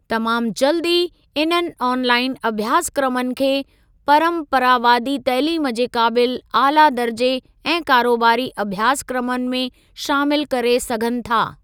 तमामु जल्द ई इन्हनि ऑनलाईन अभ्यासक्रमनि खे परम्परावादी तइलीम जे क़ाबिल ऑला दर्जे ऐं कारोबारी अभ्यासक्रमनि में शामिल करे सघनि था।